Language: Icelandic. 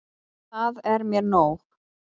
Það er mér nóg.